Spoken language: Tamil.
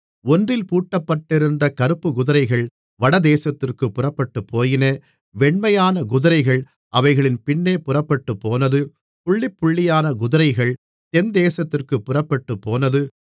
ஒன்றில் பூட்டப்பட்டிருந்த கறுப்புக்குதிரைகள் வடதேசத்திற்குப் புறப்பட்டுப்போயின வெண்மையான குதிரைகள் அவைகளின் பின்னே புறப்பட்டுப்போனது புள்ளிபுள்ளியான குதிரைகள் தென்தேசத்திற்குப் புறப்பட்டுப்போனது